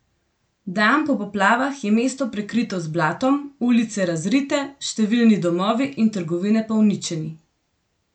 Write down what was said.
Dan po poplavah je mesto prekrito z blatom, ulice razrite, številni domovi in trgovine pa uničeni.